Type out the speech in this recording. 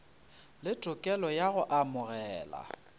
le tokelo ya go amogela